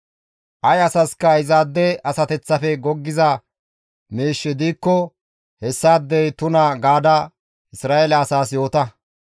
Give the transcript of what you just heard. «Ay asaska izaade asateththafe goggiza miishshi diikko hessaadey tuna gaada Isra7eele asaas yoota.